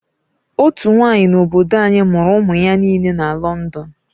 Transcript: Otú nwaanyị n'obodo anyi mụrụ ụmụ ya nile na London.